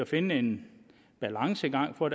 finde en balancegang og